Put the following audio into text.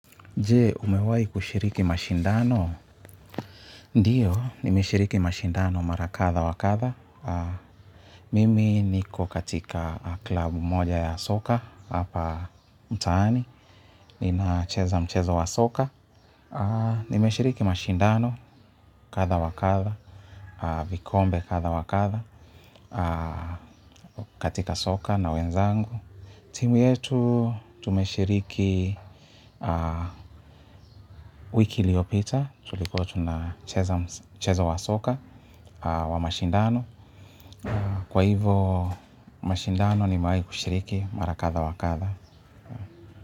Je, umewai kushiriki mashindano? Ndiyo, nimeshiriki mashindano mara kadha wakadha. Mimi niko katika klabu moja ya soka, hapa mtaani, ninacheza mchezo wa soka. Nimeshiriki mashindano, kadha wakadha, vikombe kadha wakadha, katika soka na wenzangu. Timu yetu tumeshiriki wiki iliopita tulikuwa tunacheza wa soka wa mashindano. Kwa hivo mashindano nimewai kushiriki mara kadha wakadha.